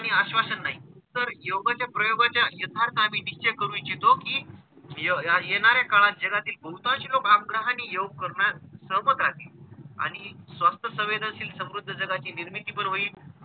अंतर योगाच्या प्रयोगाच्या यथार्थाने निश्चय करू इच्छितो कि या येणाऱ्या काळात जगातील कोणताच रोग आग्रहाने योग करणार सोबत राहतील आणि स्वस्थ संवेदनशील समृद्ध जगाची निर्मिती पण होईल.